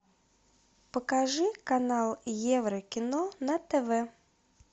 покажи канал еврокино на тв